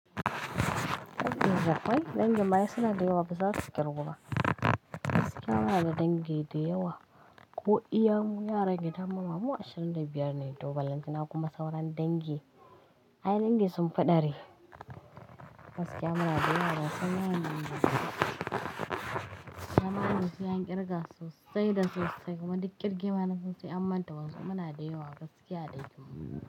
Dangin akwai, dangin ma ai suna da yawa ba zasu ƙirgu ba. Gaskiya muna da dangi da yawa ko iya mu yaran gidan mu ma mu ashirin da biyar ne, to ballan ta na kuma sauran dangi. Ai, dangi sun fi ɗari. Gaskiya muna da yawa, ban san yawan dangin mu ba. Dama wannan sai an ƙirga sosai da sosai kuma duk ƙirge ma nasan sai an manta wasu. Muna da yawa gaskiya dai kam.